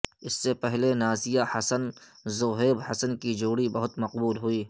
اس سے پہلے نازیہ حسن زوہیب حسن کی جوڑی بہت مقبول ہوئی